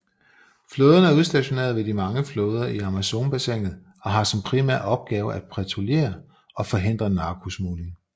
Flåden er udstationeret ved de mange floder i Amazonbassinet og har som primær opgave at patruljere og forhindre narkosmugling